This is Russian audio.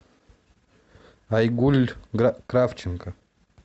айгуль кравченко